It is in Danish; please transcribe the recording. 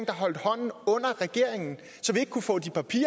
holdt hånden under regeringen så vi ikke kunne få de papirer